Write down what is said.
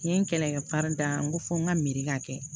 N ye n kɛlɛkɛ da n ko fɔ n ka miiri ka kɛ